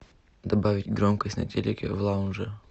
добавить громкость на телике в лаунже